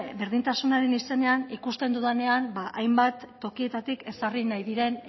berdintasunaren izenean ikusten dudanean hainbat tokietatik ezarri nahi diren